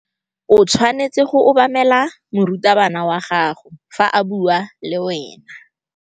O tshwanetse go obamela morutabana wa gago fa a bua le wena.